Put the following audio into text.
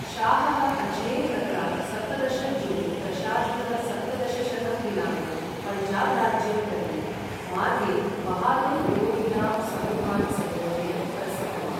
शाहः अज्मेर् नगरात् सप्तदश जून् दशाधिक सप्तदशशतं दिनाङ्के पञ्जाब् राज्यं प्रति, मार्गे बहादुर् विरोधिनां समूहान् संयोजयन् प्रस्थितवान्।